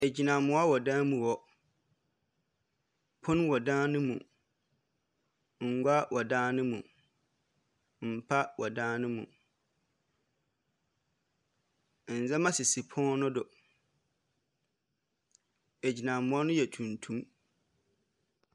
Agyinamoa wɔ dan mu hɔ. Pono wɔ dan no mu. Ngua wɔ dan no mu. Mpa wɔ dan no mu. Nneɛma sisi pon no do. Agyinamoa no yɛ tuntum.